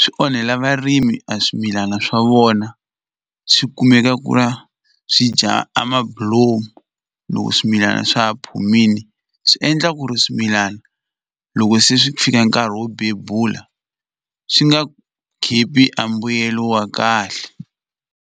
swi onhela varimi a swimilana swa vona swi kumeka ku va swi dya a mabulomu loko swimilana swa ha phumile swi endla ku ri swimilana loko se swi fika nkarhi wo bebula swi nga khipi a mbuyelo wa kahle.